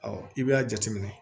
i b'a jateminɛ